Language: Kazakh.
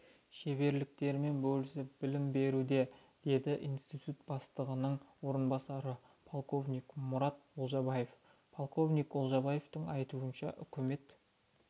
шеберліктерімен бөлісіп білім беруде деді институт бастығының орынбасары полковник мұрат олжабаев полковник олжабаевтың айтуынша үкімет